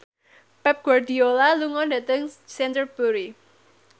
Pep Guardiola lunga dhateng Canterbury